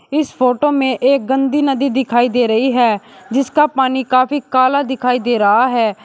इस फोटो में एक गंदी नदी दिखाई दे रही है जिसका पानी काफी काला दिखाई दे रहा है।